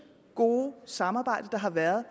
gode samarbejde der har været